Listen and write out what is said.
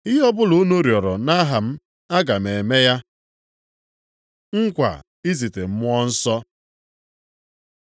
Ihe ọbụla unu rịọrọ nʼaha m, aga m eme ya. Nkwa izite Mmụọ Nsọ